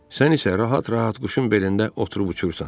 Sən isə rahat-rahat quşun belində oturub uçursan.